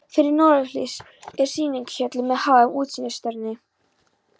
Fyrir norðurhlið er sýningarhöll með háum útsýnisturni.